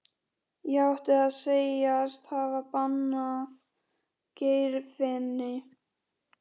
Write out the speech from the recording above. Ég átti að segjast hafa banað Geirfinni.